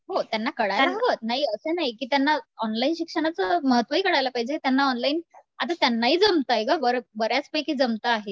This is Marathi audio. हो त्यांना कळायला हवं नाही असे नाही की त्यांना ऑनलाईन शिक्षणाचं महत्व ही कळायला पाहिजे त्यांना ऑनलाईन आता त्यांना ही जमतंय गं बऱ्याचपैकी जमतं आहे.